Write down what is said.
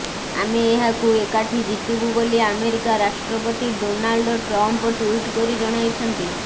ଆମେ ଏହାକୁ ଏକାଠି ଜିତିବୁ ବୋଲି ଆମେରିକା ରାଷ୍ଟ୍ରପତି ଡୋନାଲ୍ଡ ଟ୍ରମ୍ପ ଟ୍ବିଟ କରି ଜଣାଇଛନ୍ତି